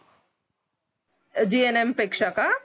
gnm पेक्षा का